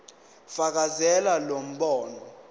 fakazela lo mbono